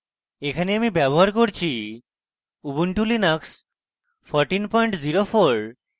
এখানে আমি ব্যবহার করছি ubuntu linux 1404